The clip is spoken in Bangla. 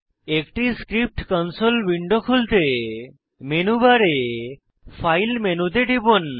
একটি স্ক্রিপ্ট কনসোল উইন্ডো খুলতে মেনু বারে ফাইল মেনুতে টিপুন